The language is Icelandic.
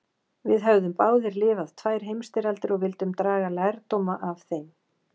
Við höfðum báðir lifað tvær heimstyrjaldir og vildum draga lærdóma af þeim.